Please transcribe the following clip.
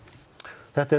þetta er